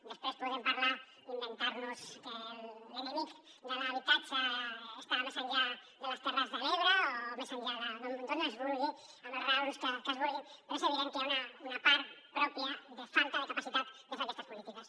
després podem parlar inventar nos que l’enemic de l’habitatge estava més enllà de les terres de l’ebre o més enllà d’on es vulgui amb les raons que es vulguin però és evident que hi ha una part pròpia de falta de capacitat de fer aquestes polítiques